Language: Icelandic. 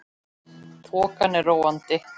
Þokan er róandi